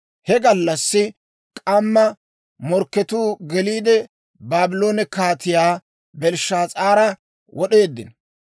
He gallassi k'amma morkketuu geliide, Baabloone Kaatiyaa Belshshaas'aara wod'eeddino.